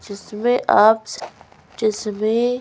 जिसमें आप जिसमें --